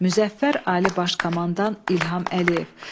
Müzəffər Ali Baş Komandan İlham Əliyev.